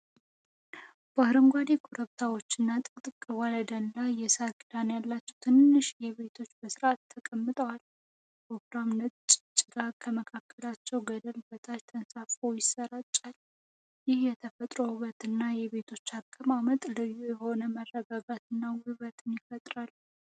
በአረንጓዴ ኮረብታዎችና ጥቅጥቅ ባለ ደን ላይ፣ የሳር ክዳን ያላቸው ትናንሽ ቤቶች በሥርዓት ተቀምጠዋል። ወፍራም ነጭ ጭጋግ ከመካከለኛው ገደል በታች ተንሳፍፎ ይሰራጫል። ይህ የተፈጥሮ ውበትና የቤቶቹ አቀማመጥ ልዩ የሆነ መረጋጋትንና ውበትን ይፈጥራል።